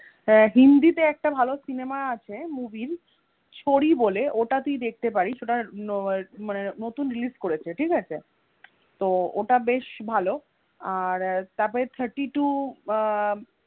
আহ hindi তে একটা ভালো সিনেমা আছে movie এর ছোড়ি বলে ওটা তুই দেখতে পারিস ওটা ~ মানে নতুন release করেছে ঠিক আছে. তো ওটা বেশ ভালো আর তারপরে thirty two আহ